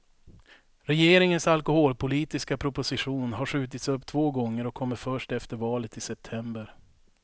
Regeringens alkoholpolitiska proposition har skjutits upp två gånger och kommer först efter valet i september.